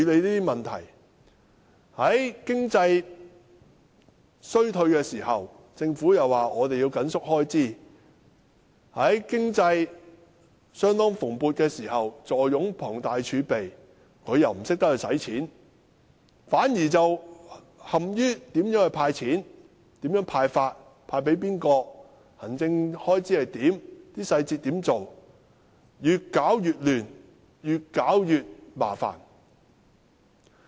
在經濟衰退時，政府表示要緊縮開支；在經濟蓬勃時，政府坐擁龐大儲備，但卻不懂得花錢，反而陷於如何"派錢"、"派錢"給誰、行政開支如何等執行細節，越搞越亂，越搞越麻煩。